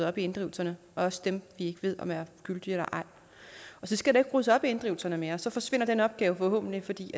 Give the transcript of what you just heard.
op i inddrivelserne også dem vi ikke ved om er gyldige eller ej og så skal der jo ryddes op i inddrivelserne mere så forsvinder den opgave forhåbentlig fordi